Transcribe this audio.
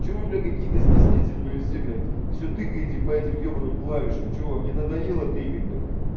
что вы блядь какие-то стеснительные все блядь всё тыкаете по этим ёбаным клавишам что вам не надоело тыкать бля